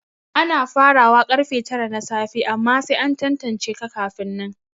Ana farawa karfe tara na safe amma sai an tantance ka kafin nan